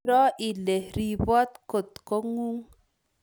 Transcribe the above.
Iroo ile riboot kotng'ung